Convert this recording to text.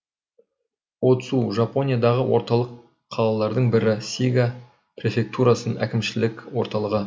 о цу жапониядағы орталық қалалардың бірі сига префектурасының әкімшілік орталығы